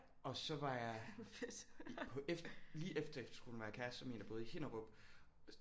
Og så var jeg på lige efter efterskolen var jeg kæreste med en der boede i Hinnerup